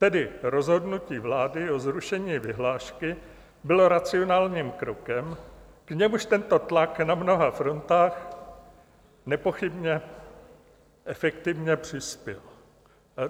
Tedy rozhodnutí vlády o zrušení vyhlášky bylo racionálním krokem, k němuž tento tlak na mnoha frontách nepochybně efektivně přispěl.